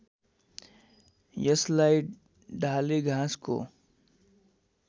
यसलाई डालेघाँसको